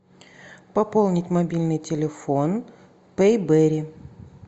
пополнить мобильный телефон пейберри